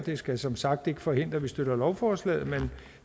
det skal som sagt ikke forhindre at vi støtter lovforslaget men